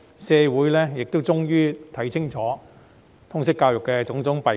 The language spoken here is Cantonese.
社會終於看清楚通識教育的種種弊病。